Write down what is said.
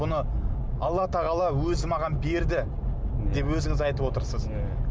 бұны алла тағала өзі маған берді деп өзіңіз айтып отырсыз иә